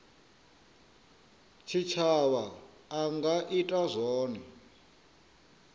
tshitshavha a nga ita zwone